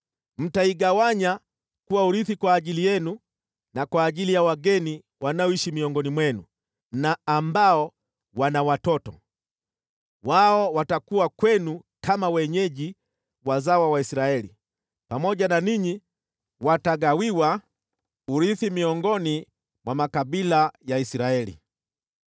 Mtaigawanya kuwa urithi kwa ajili yenu na kwa ajili ya wageni wanaoishi miongoni mwenu na ambao wana watoto. Wao watakuwa kwenu kama wenyeji wazawa wa Israeli, pamoja na ninyi watagawiwa urithi miongoni mwa makabila ya Israeli.